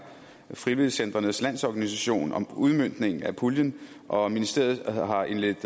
frivilligcentres landsorganisation om udmøntningen af puljen og ministeriet har indledt